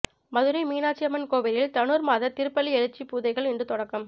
மதுரை மீனாட்சியம்மன் கோவிலில் தனூர் மாத திருப்பள்ளி எழுச்சி பூஜைகள் இன்று தொடக்கம்